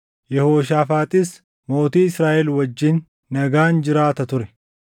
Yehooshaafaaxis mootii Israaʼel wajjin nagaan jiraata ture.